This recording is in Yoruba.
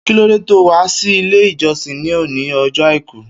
Kilòdé tóó wà si ilé ijọsin ni óni ọjọ áikù?